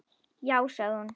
Já sagði hún.